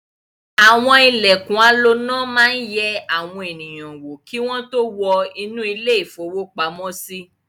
Àwọn ilẹ̀kùn aloná máa ń yẹ àwọn ènìyàn wò kí wọ́n tó wọ inú ilé-ìfowópamọ́sí.